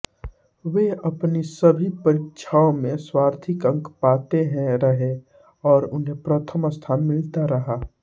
वह अपनी सभी परीक्षाओं में सर्वाधिक अंक पाते रहे और उन्हें प्रथम स्थान मिलता रहा